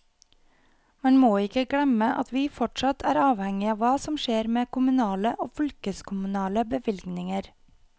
Man må ikke glemme at vi fortsatt er avhengig av hva som skjer med kommunale og fylkeskommunale bevilgninger.